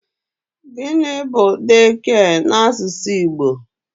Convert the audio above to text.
Gịnị bu 'daycare' n'asụsụ Igbo?